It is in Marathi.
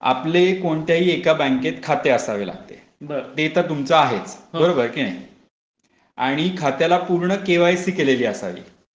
आपले कोणत्याही एका बँकेत खाते असावे लागते. ते तर तुमच आहेच. हो कि नाही ? आणि खात्याला पूर्ण केवायसी केलेली असावी.